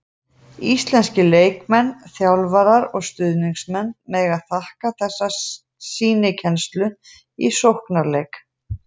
Íslenskir leikmenn, þjálfarar og stuðningsmenn mega þakka þessa sýnikennslu í sóknarleik.